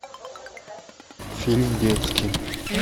фильм детский